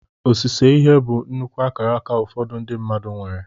Osise ihe bụ nnukwu akaraka ụfọdụ ndị mmadụ nwere.